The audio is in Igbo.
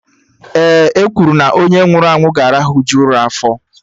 Ee, e kwuru na onye nwụrụ anwụ ga-arahuju ụra afọ